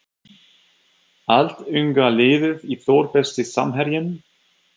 Allt unga liðið í Þór Besti samherjinn?